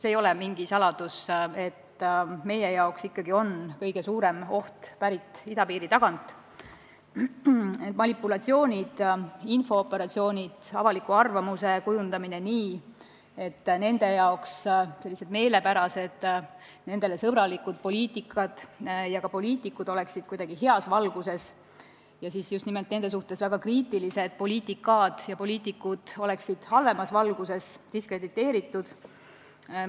See ei ole mingi saladus, et meie jaoks lähtub kõige suurem oht idapiiri tagant: manipulatsioonid, infooperatsioonid, avaliku arvamuse kujundamine nii, et nendele meelepärased, nende vastu sõbralikud poliitikad ja ka poliitikud oleksid heas valguses, nende suhtes väga kriitilised poliitikad ja poliitikud aga halvemas valguses, diskrediteeritud.